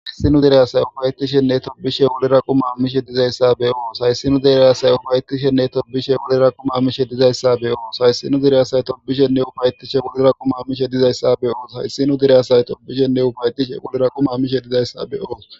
Haysi nu diraasay ufayetishenne tobishe wuliraqu maamishe dizayssa beyoos hayssinu deryaasay ufayetishenne tobishe wuliraqu ma mishe dizayssa beyoos hayssinu direyasaye topbishenne ufayetishe wuliraqu mamishe dizayssa beyoos hayssinu diryasay tobishenne ufayetishe wuliraquma mishe dizayssa beyoos